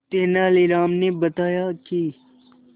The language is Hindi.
तेनालीराम ने बताया कि